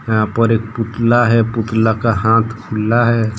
यहां पर एक पुतला है पुतला का हाथ पीला है।